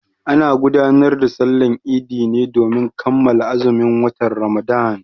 Ana gudanar da Sallar Idi ne domin kammala azumin watan Ramadan.